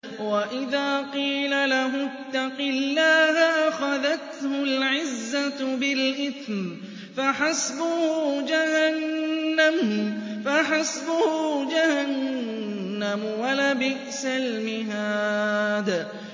وَإِذَا قِيلَ لَهُ اتَّقِ اللَّهَ أَخَذَتْهُ الْعِزَّةُ بِالْإِثْمِ ۚ فَحَسْبُهُ جَهَنَّمُ ۚ وَلَبِئْسَ الْمِهَادُ